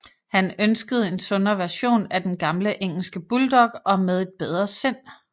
Han ønskede en sundere version af den gamle engelske bulldog og med et bedre sind